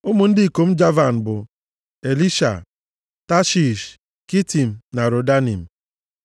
Ụmụ ndị ikom Javan bụ: Elisha, Tashish, Kitim na Rodanim.